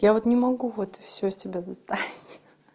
я вот не могу вот всё себя заставить ха-ха